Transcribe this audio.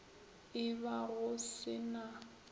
e ba go se na